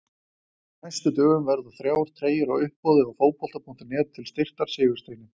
Á næstu dögum verða þrjá treyjur á uppboði á Fótbolta.net til styrktar Sigursteini.